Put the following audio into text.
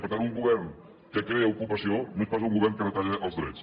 per tant un govern que crea ocupació no és pas un govern que retalla els drets